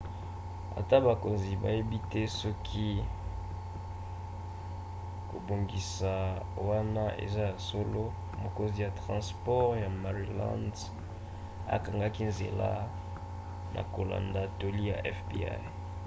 ata bakonzi bayebi te soki kobongisa wana eza ya solo mokonzi ya transport ya maryland akangaki nzela na kolanda toli ya fbi